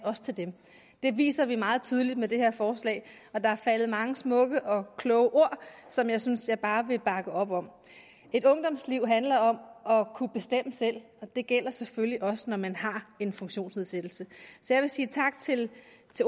til dem det viser vi meget tydeligt med det her forslag og der er faldet mange smukke og kloge ord som jeg synes jeg bare vil bakke op om et ungdomsliv handler om at kunne bestemme selv og det gælder selvfølgelig også når man har en funktionsnedsættelse så jeg vil sige tak til